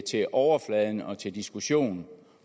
til overfladen og til diskussion